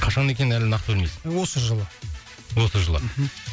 қашан екенін әлі нақты білмейсің осы жылы осы жылы мхм